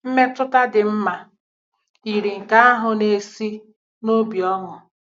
Mmetụta dị mma yiri nke ahụ na-esi n'obi ọṅụ.